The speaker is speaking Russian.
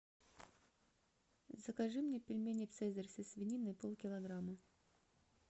закажи мне пельмени цезарь со свининой полкилограмма